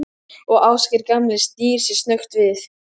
Og Ásgeir gamli snýr sér snöggt við.